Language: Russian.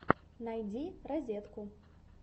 найди розетку